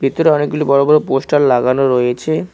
ভিতরে অনেকগুলি বড় বড় পোস্টার লাগানো রয়েছে।